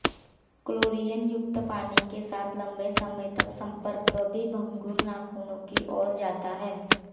क्लोरीनयुक्त पानी के साथ लंबे समय तक संपर्क भी भंगुर नाखूनों की ओर जाता है